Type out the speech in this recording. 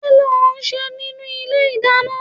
Kí ni ò ń ṣe nínú ilé ìdáná?